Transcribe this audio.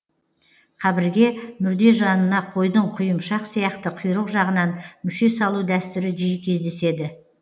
қабірге мүрде жанына қойдың құйымшақ сияқты құйрық жағынан мүше салу дәстүрі жиі кездеседі